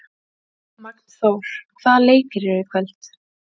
Magnþór, hvaða leikir eru í kvöld?